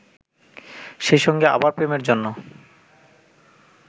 সেইসঙ্গে আবার প্রেমের জন্য